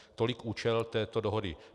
Tolik účel této dohody.